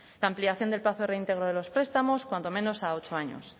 la ampliación del plazo de reintegro de los prestamos cuando menos a ocho años